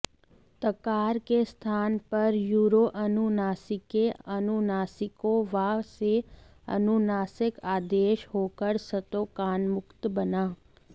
तकार के स्थान पर यरोऽनुनासिकेऽनुनासिको वा से अनुनासिक आदेश होकर स्तोकान्मुक्त बना